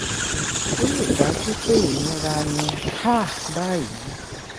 ó lè dájú pé ìnira ní um báyìí.